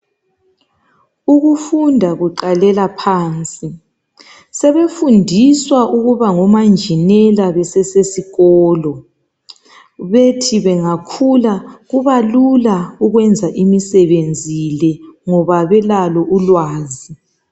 Ukufunda kuqalela phansi, sebefundiswa ukuba ngomanjinela bese sesikolo, bethi bengakhula kubalula ukwenza imisebenzi le ngoba belalo ulwazi.